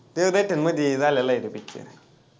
ते झालेला आहे तो picture